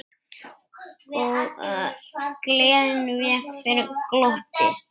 Gleðin vék fyrir glotti.